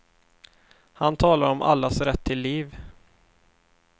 Han talar om allas rätt till liv.